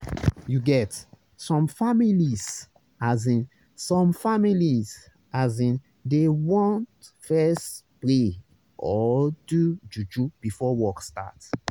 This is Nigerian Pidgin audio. you get some families asin some families asin dey want fess pray or do juju before work start